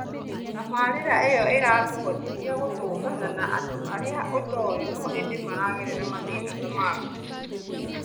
Tabarĩra ĩyo ĩrakũhotithia gũtũngana na andũ arĩa ũtoĩ no ĩndĩ maragerera mathĩna ta maku